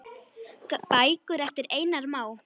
Bækur eftir Einar Má.